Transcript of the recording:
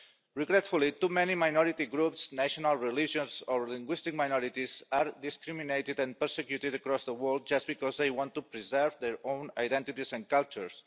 Regretfully, too many minority groups, national, religious or linguistic minorities are discriminated against and persecuted across the world just because they want to preserve their own identities and cultures.